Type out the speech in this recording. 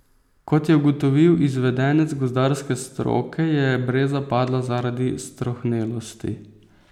Kot je ugotovil izvedenec gozdarske stroke, je breza padla zaradi strohnelosti.